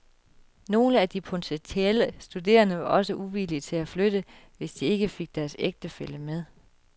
Nogle af de potentielle studerende var også uvillige til at flytte, hvis de ikke fik deres ægtefælle med.